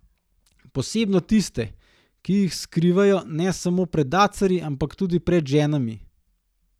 Posebno tiste, ki jih skrivajo ne samo pred dacarji, ampak tudi pred ženami.